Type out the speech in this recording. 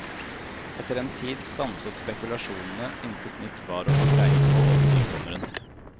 Etter en tid stanset spekulasjonene, intet nytt var å få greie på om nykommeren.